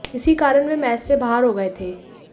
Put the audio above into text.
इसी कारण वह मैच से बाहर हो गए थे